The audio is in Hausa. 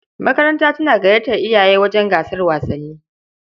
Makaranta tana gayyatar iyaye wajen gasar wasanni.